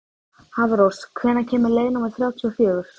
Hafrós, hvenær kemur leið númer þrjátíu og fjögur?